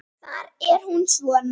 Þar er hún svona